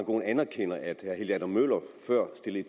aaen anerkender at herre helge adam møller før stillede